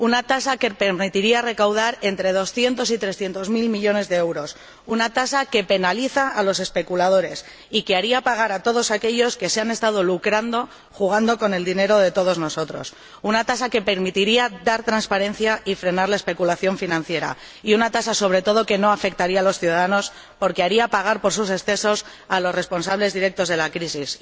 Una tasa que permitiría recaudar entre doscientos y trescientos mil millones de euros, una tasa que penaliza a los especuladores y que haría pagar a todos aquellos que se han estado lucrando jugando con el dinero de todos nosotros, una tasa que permitiría dar transparencia y frenar la especulación financiera, y una tasa, sobre todo, que no afectaría a los ciudadanos, porque haría pagar por sus excesos a los responsables directos de la crisis.